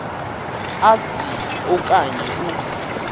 asi okanye u